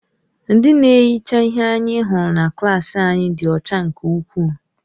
Ndị na-ehicha ihe anyị hụrụ na klaasị anyị dị ọcha nke ukwuu.